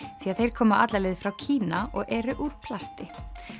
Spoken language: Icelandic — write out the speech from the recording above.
því að þeir koma alla leið frá Kína og eru úr plasti